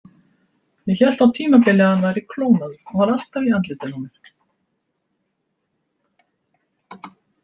Ég hélt á tímabili að hann væri klónaður, hann var alltaf í andlitinu á mér.